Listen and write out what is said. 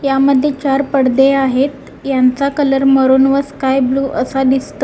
या मध्ये चार पडदे आहेत यांचा कलर मरून व स्काय ब्लू असा दिसतो.